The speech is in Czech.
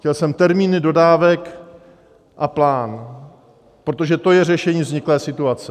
Chtěl jsem termín dodávek a plán, protože to je řešení vzniklé situace.